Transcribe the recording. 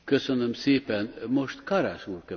Herr Präsident, meine Damen und Herren!